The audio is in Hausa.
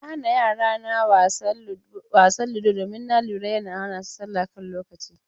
Na hana yara na buga wasa ludo domin na lura yana hana su salla a kan lokaci.